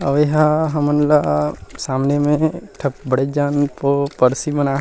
आऊ ए ह हमन ला सामने में ठ बड़ेक जन बनाये--